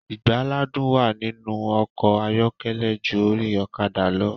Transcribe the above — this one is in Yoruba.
Ìgbàlàdun wá nínú ọkọ̀ ayọ́kẹ́lẹ̀ ju ori ọ̀kadà lọ.